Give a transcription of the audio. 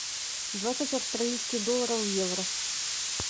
двадцать австралийских долларов в евро